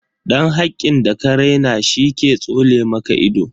Dan hakkin da ka raina she ke tsole maka ido.